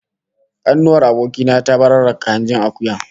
Kanuwar aboki na ta bararraka hanjin akuyar